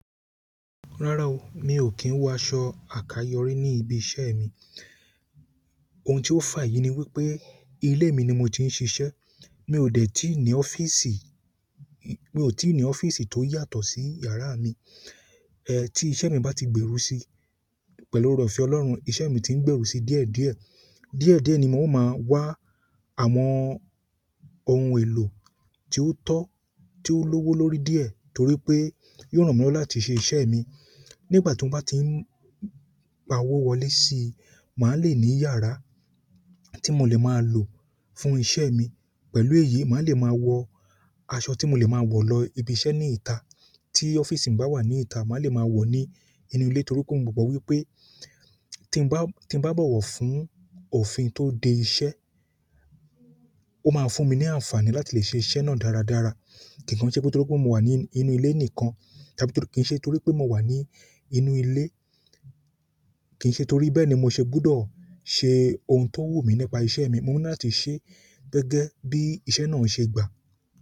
Rárá o, mi ò kí ń wọ aṣọ àkayòrí ní ibi iṣẹ́ mi. Oun ti o fa èyí ni wípé, ile mi ni mo ti n sise. Mi ò dé tí ní ọ́fíìsì, mi ò tí ní ọ́fíìsì tó yàtọ̀ sí yàrá mi. Ti iṣẹ́ mi bá ti gbèrú si, pẹ̀lú ore-oofe Ọlọ́run, iṣẹ́ mi ti ń gbèrú si díẹ̀díẹ̀. Díẹ̀díẹ̀ ni mo máa wá àwọn ohun èlò tí ó tọ́, tí ó lówó lórí díẹ̀ torí pé yóò ràn mí lọ́wọ́ láti ṣe iṣẹ́ mi. Nígbà tí ó bá ti ń pa owó wọlé si, màá le ní yàrá tí mo le máa lò fún iṣẹ́ mi. Pẹ̀lú èyí, màá le máa wọ aṣọ tí mo lè máa wọ̀ lọ ibi iṣẹ́ ní ìta. Ti ọ́fíìsì ba wa ni ita ma le mo wo ni inú ile, torí pe mo mo wípé ti n ba bowo fún òfin to de iṣẹ́ o maa fún mi ni àǹfààní láti le se iṣẹ́ náà dáradára kì kan se pé torí pé mo wà ní inú ilé nìkan, tàbí kí ń ṣe torí pé mo wà ní inú ilé, kì ń ṣe torí bẹ́ẹ̀ ni mo ṣe gbúdọ̀ ṣe ohun tó wù mí nípa iṣẹ́ mi. Mo ni láti ṣe gẹ́gẹ́ bí iṣẹ́ náà ṣe gbà.